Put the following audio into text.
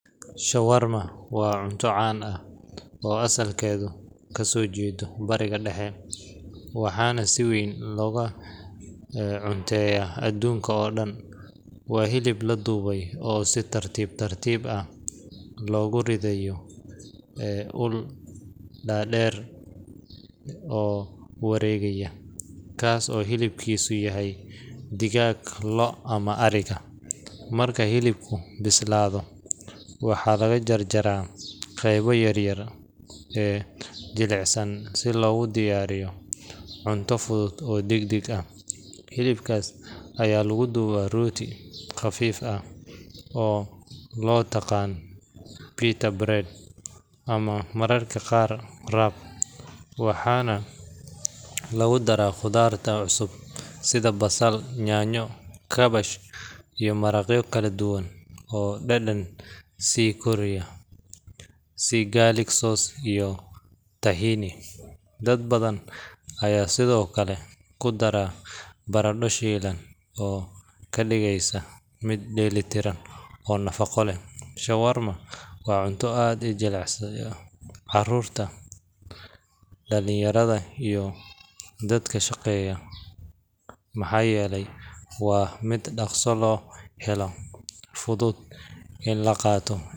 Shawarma waa cunto caan ah oo asalkeedu ka soo jeedo Bariga Dhexe, waxaana si weyn looga cunteeyaa adduunka oo dhan. Waa hilib la dubay oo si tartiib tartiib ah loogu ridayo ul dhaadheer oo wareegaya, kaas oo hilibkiisu yahay digaag, lo’, ama ariga. Marka hilibku bislaado, waxaa laga jarjaraa qaybaha yaryar ee jilicsan si loogu diyaariyo cunto fudud oo degdeg ah. Hilibkaas ayaa lagu duubaa rooti khafiif ah oo loo yaqaan pita bread ama mararka qaar wrap, waxaana lagu daraa khudaarta cusub sida basal, yaanyo, kaabash, iyo maraqyo kala duwan oo dhadhanka sii kordhiya, sida garlic sauce iyo tahini. Dad badan ayaa sidoo kale ku dara baradho shiilan oo ka dhigaysa mid dheellitiran oo nafaqo leh. Shawarma waa cunto aad u jecel carruurta, dhallinyarada, iyo dadka shaqeeya maxaa yeelay waa mid dhakhso loo helo, fudud in la qaato.